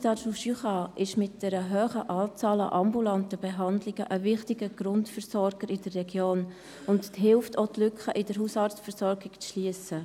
Das HJB ist mit einer hohen Anzahl an ambulanten Behandlungen eine wichtige Grundversorgerin in der Region und hilft dabei, die Lücken in der Hausarztversorgung zu schliessen.